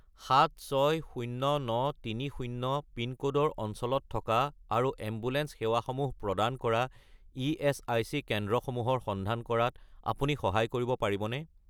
760930 পিনক'ডৰ অঞ্চলত থকা আৰু এম্বুলেন্স সেৱাসমূহ প্ৰদান কৰা ইএচআইচি কেন্দ্ৰসমূহৰ সন্ধান কৰাত আপুনি সহায় কৰিব পাৰিবনে?